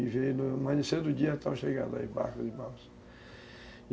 E veio no amanhecer do dia, estavam chegando aí barcos e balsas.